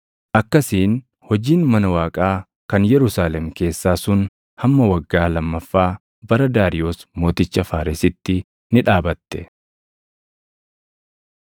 Akkasiin hojiin mana Waaqaa kan Yerusaalem keessaa sun hamma waggaa lammaffaa bara Daariyoos mooticha Faaresitti ni dhaabatte.